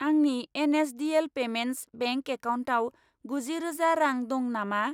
आंनि N S D L payments bank एकाउन्टाव गुजि रोजा रां दं नामा?